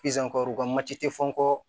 u ka mati te fɔ